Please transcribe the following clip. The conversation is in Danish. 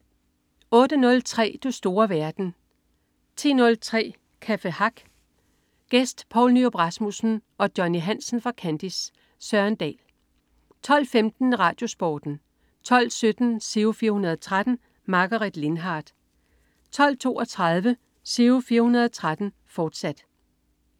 08.03 Du store verden 10.03 Café Hack. Gæst: Poul Nyrup Rasmussen og Johnny Hansen fra Kandis. Søren Dahl 12.15 RadioSporten 12.17 Giro 413. Margaret Lindhardt 12.32 Giro 413, fortsat